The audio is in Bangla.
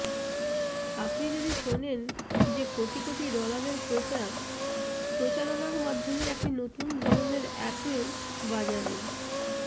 আপনি যদি শোনেন যে কোটি কোটি ডলারের প্রচার প্রচারণার মাধ্যমে একটি নতুন ধরণের অ্যাপল বাজারে